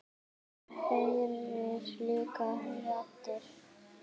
Hann heyrir líka raddir.